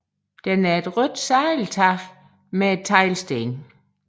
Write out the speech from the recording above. Den er et rødt sadeltag med teglsten